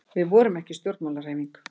Við vorum ekki stjórnmálahreyfing.